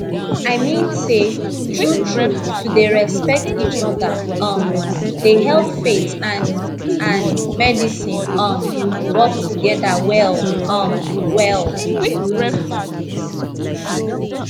i mean say true true to dey respect each other um dey help faith and and medicine um work together well um well